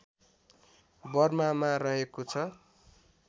बर्मामा रहेको छ